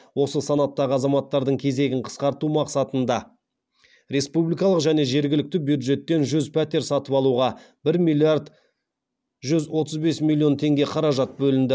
осы санаттағы азаматтардың кезегін қысқарту мақсатында республикалық және жергілікті бюджеттен жүз пәтер сатып алуға бір миллиард жүз отыз бес миллион теңге қаражат бөлінді